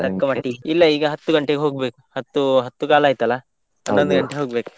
ಇಲ್ಲ ಈಗ ಹತ್ತು ಗಂಟೆಗೆ ಹೋಗ್ಬೇಕು ಹತ್ತು ಹತ್ತು ಕಾಲು ಆಯ್ತಲ್ಲ. ಹನೊಂದು ಗಂಟೆಗೆ ಹೋಗ್ಬೇಕ್.